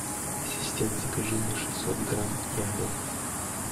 ассистент закажи мне шестьсот грамм яблок